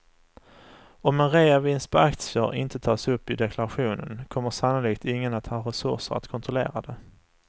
Om en reavinst på aktier inte tas upp i deklarationen kommer sannolikt ingen att ha resurser att kontrollera det.